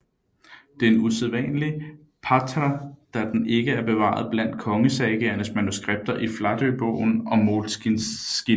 Det er en udsædvanlig þáttr da den ikke er bevaret blandt kongesagaernes manuskripter i Flatøbogen og Morkinskinna